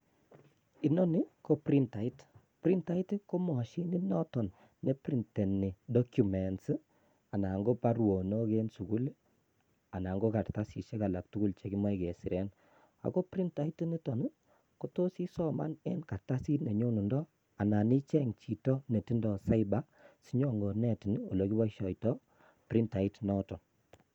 Inoni ko printait, printait ko mashinit noton neprintenii documents anan ko baruonok eng sukul anan ko kartasisiek alaktugul chekimoche kesiren. Ako printait initon kotos isoman eng kartasit ole nyondundoo anan icheng chito netindo cyber sinyonkonetin olekiboishiotoo printait noton